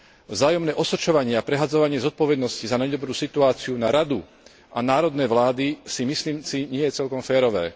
Vzájomné osočovanie a prehadzovanie zodpovednosti za nedobrú situáciu na Radu a národné vlády, myslím si, nie je celkom férové.